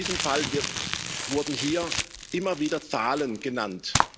In diesem Fall wurden hier immer wieder Zahlen genannt.